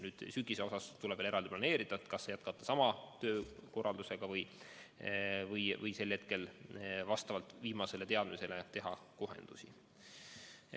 Ja sügisele mõeldes tuleb veel eraldi planeerida, kas jätkata sama töökorraldusega või vastavalt viimastele teadmistele teha kohendusi.